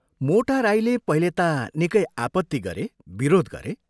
मोटा राईले पहिले ता निकै आपत्ति गरे, विरोध गरे।